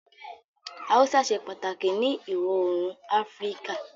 Haúsá ṣe pàtàkì ni ìwọ oòrùn Áfíríkà